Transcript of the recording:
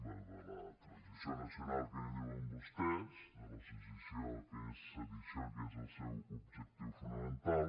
bé de la transició nacional que en diuen vostès de la sedició que és el seu objectiu fonamental